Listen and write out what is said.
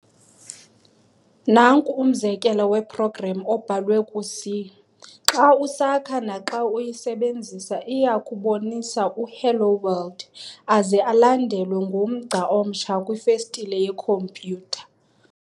Nanku umzekelo we-program obhalwe ku-C. Xa usakha naxa uyisebenzisa, iyakubonisa u-"Hello world!", aze alandelwe ngumgca omtsha kwifestile yekhomputer.